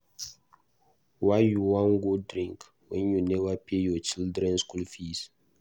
Why you wan go drink wen you neva pay your children school fees.